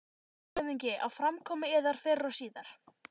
LANDSHÖFÐINGI: Á framkomu yðar fyrr og síðar.